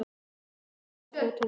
Bogi hefur áhuga á tónlist.